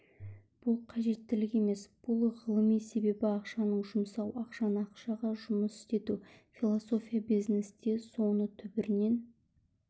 бұл қажеттілік емес бұл ғылым себебі ақшаны жұмсау ақшаны ақшаға жұмыс істету философия бизнесте соны түбірінен